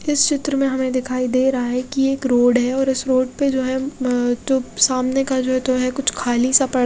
इस चित्र में हमें दिखाई दे रहा है कि ये एक रोड है और इस रोड पे जो है मम जो सामने का जो है तो है कुछ खाली सा प --